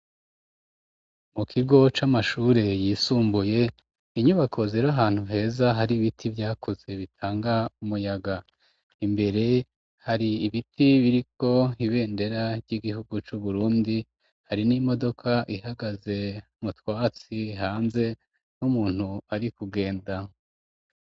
Mu kigo c'amashure yisumbuye, inyubako zir'ahantu heza, hari ibiti vyakoze bitanga umuyaga, imbere hari ibiti biriko ibendera ry'igihugu c'uburundi, hari n'imodoka ihagaze mutwatsi hanze ,n'umuntu ari kugenda.